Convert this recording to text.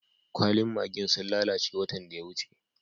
Kwallin maggi'n sun lallace watan da ya wuce.